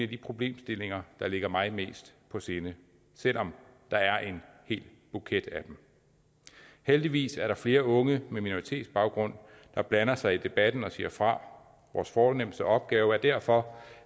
de problemstillinger der personligt ligger mig mest på sinde selv om der er en hel buket af dem heldigvis er der flere unge med minoritetsbaggrund der blander sig i debatten og siger fra vores fornemste opgave er derfor